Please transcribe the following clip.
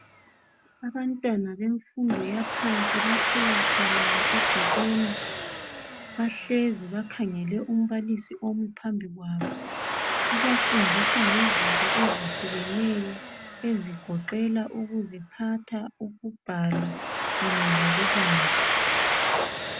Abantwana bemfundo yaphansi bathe wathalala egcekeni bahlezi bakhangele umbalisi ophambi kwabo ubafundisa ngezinto ezehlukeneyo ezigoqela ukuziphatha, ukubhala kanye lokubala.